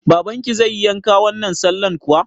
Babanki zai yi yanka wannan sallan kuwa?